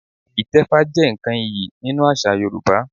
Ìtẹfá jẹ́ nǹkan iyì nínú àṣà Yorùbá